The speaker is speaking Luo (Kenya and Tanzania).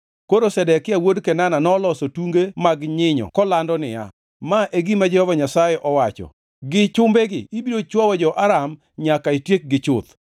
Koro Zedekia wuod Kenana noloso tunge mag nyinyo kolando niya, “Ma e gima Jehova Nyasaye owacho, ‘Gi chumbegi ibiro chwowo jo-Aram nyaka itiekgi chuth.’ ”